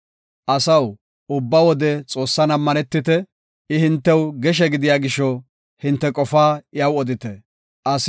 Asaw, ubba wode Xoossan ammanetite; I hintew geshe gidiya gisho, hinte qofaa iyaw odite. Salaha